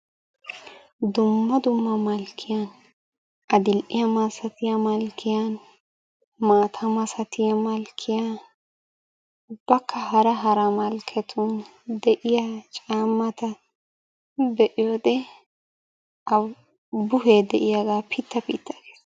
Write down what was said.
Dumma dumma malikkiyan, adil"iya masatiya malkkiyan, maatala masatiya malkkiyan ubbakka hara hara malkketun de'iya caamnata be'iyode buhee de'iyaga pita pita gees.